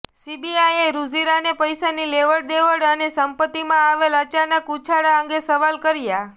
સીબીઆઈએ રુજિરાને પૈસાની લેવડદેવડ અને સંપત્તિમાં આવેલા અચાનક ઉછાળા અંગે સવાલ કર્યાં